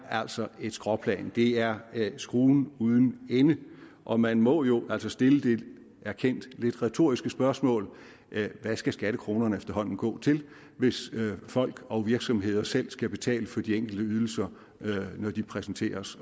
altså er et skråplan det er skruen uden ende og man må jo altså stille det erkendt lidt retoriske spørgsmål hvad skal skattekronerne efterhånden gå til hvis folk og virksomheder selv skal betale for de enkelte ydelser når de præsenteres